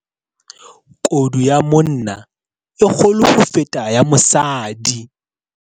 Kodu ya monna e kgolo ho feta ya mosadi.